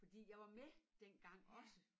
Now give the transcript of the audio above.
Fordi jeg var med dengang også